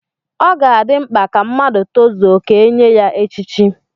Ọ ga-adị mkpa ka mmadụ tozuo ka e nye ya echichi.